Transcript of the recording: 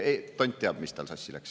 Tont teab, mis tal sassi läks.